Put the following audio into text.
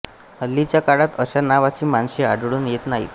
हल्लीच्या काळात अशा नावाची माणसे आढळून येत नाहीत